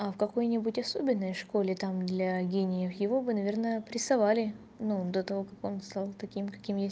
а в какой-нибудь особенной школе там для гениев его бы наверное прессовали ну до того как он стал таким каким есть